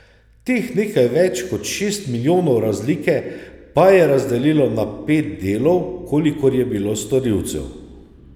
Teh nekaj več kot šest milijonov razlike pa je razdelilo na pet delov, kolikor je bilo storilcev.